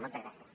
moltes gràcies